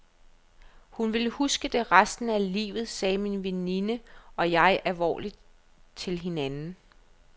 Hun vil huske det resten af livet, sagde min veninde og jeg alvorligt til hinanden.